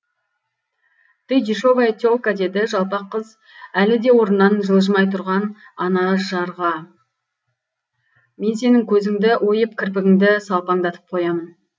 ты дешевая те лка деді жалпақ қыз әлі де орнынан жылжымай тұрған анажарға мен сенің көзіңді ойып кірпігіңді салпаңдатып қоямын